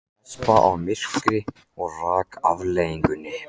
Hespa af í myrkri og taka afleiðingunum.